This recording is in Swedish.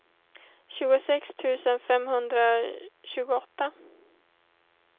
tjugosex tusen femhundratjugoåtta